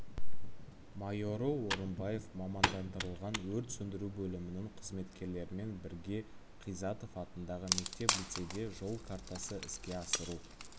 майоры орынбаев мамандандырылған өрт сөндіру бөлімінің қызметкерлерімен бірге қизатов атындағы мектеп-лицейде жол картасы іске асыру